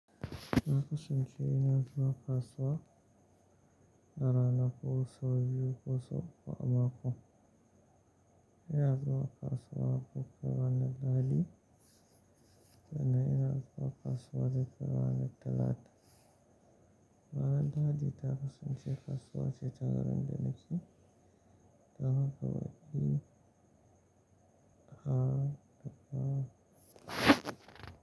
Na kasance ina zuwa kasuwa rana ko sau biyu ko sau uku a mako. Ina zuwa kasuwa duk ranar Lahadi, sannan ina zuwa kasuwa duk ranar Talata. Ranar Lahadi ta kasance kasuwa ce ta garin da nake da haka wajen.